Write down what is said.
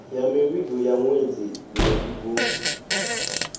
ya mivhigo ya ṅwedzi mivhigo